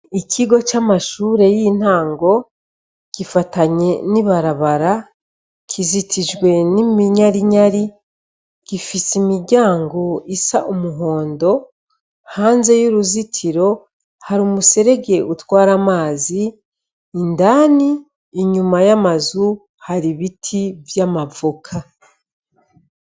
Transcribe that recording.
Ikigo camashure yintango gifatanye n'ibarabara kizitijwe n'iminyarinyari gifise imiryango isa umuhondo hanze yuruzitiro hari umuserege utwara amazi indani inyuma yamazu hari ibiti vy'amavoka.